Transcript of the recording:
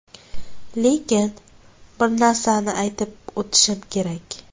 Lekin bir narsani aytib o‘tishim kerak.